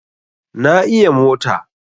Na iya mota